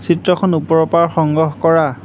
চিত্ৰখন ওপৰৰ পৰা সংগ্ৰহ কৰা।